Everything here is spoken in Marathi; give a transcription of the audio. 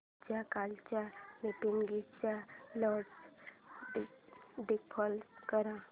माझ्या कालच्या मीटिंगच्या नोट्स डिस्प्ले कर